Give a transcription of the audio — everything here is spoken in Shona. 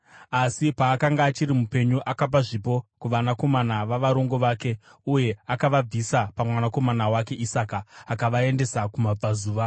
Asi paakanga achiri mupenyu akapa zvipo kuvanakomana vavarongo vake uye akavabvisa pamwanakomana wake Isaka akavaendesa kumabvazuva.